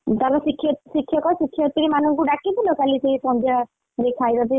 ତାର ଶିକ୍ଷ ଶିକ୍ଷକ, ଶିକ୍ଷୟତ୍ରୀମାନଙ୍କୁ ଡାକିଥିଲ କାଲି ସେଇ ସନ୍ଧ୍ୟା ଯୋଉ ଖାଇବା ପିଇବା?